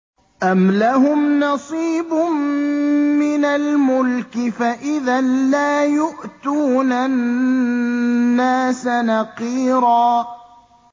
أَمْ لَهُمْ نَصِيبٌ مِّنَ الْمُلْكِ فَإِذًا لَّا يُؤْتُونَ النَّاسَ نَقِيرًا